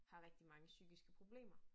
Har rigtig mange psykiske problemer